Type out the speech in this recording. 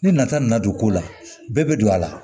Ni nata nana don ko la bɛɛ bɛ don a la